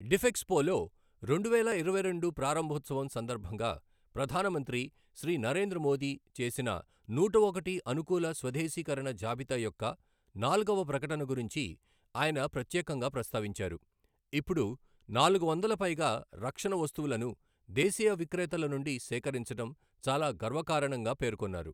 డిఫెక్స్పోలో రెండువేల ఇరవైరెండు ప్రారంభోత్సవం సందర్భంగా ప్రధాన మంత్రి శ్రీ నరేంద్ర మోదీ చేసిన నూట ఒకటి అనుకూల స్వదేశీకరణ జాబితా యొక్క నాల్గవ ప్రకటన గురించి ఆయన ప్రత్యేకంగా ప్రస్తావించారు, ఇప్పుడు నాలుగు వందల పైగా రక్షణ వస్తువులను దేశీయ విక్రేతల నుండి సేకరించడం చాలా గర్వకారణంగా పేర్కొన్నారు.